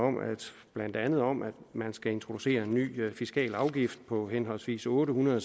blandt andet om at man skal introducere en ny fiskal afgift på henholdsvis otte hundrede